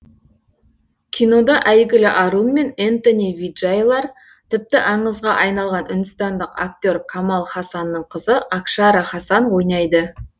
кинода әйгілі арун мен энтони виджайлар тіпті аңызға айналған үндістандық актер камал хасанның қызы акшара хасан ойнайды